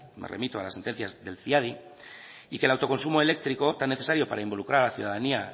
me remito a las sentencias de ciadi y que el autoconsumo eléctrico tan necesario para involucrar a la ciudadanía